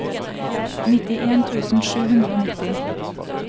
nittien tusen sju hundre og nitti